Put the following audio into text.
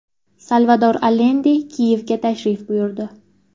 Salvador Alende Kiyevga tashrif buyurdi.